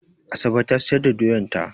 Asabe ta siyar da doyan ta.